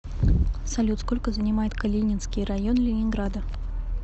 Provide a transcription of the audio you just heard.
салют сколько занимает калининский район ленинграда